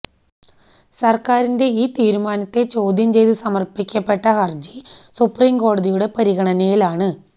സര്ക്കാരിന്റെ ഈ തീരുമാനത്തെ ചോദ്യം ചെയ്ത് സമര്പ്പിക്കപ്പെട്ട ഹര്ജി സുപ്രീംകോടതിയുടെ പരിഗണനയിലാണ്